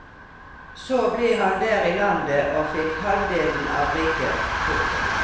Så ble han der i landet og fikk halvdelen av riket. punktum